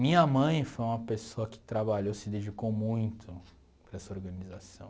Minha mãe foi uma pessoa que trabalhou, se dedicou muito para essa organização.